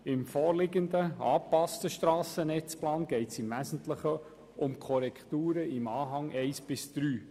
Im vorliegenden, angepassten Strassennetzplan geht es im Wesentlichen um Korrekturen in den Anhängen 1 bis 3.